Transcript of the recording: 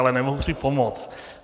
Ale nemohu si pomoci.